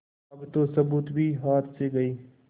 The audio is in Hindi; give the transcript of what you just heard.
अब तो सबूत भी हाथ से गये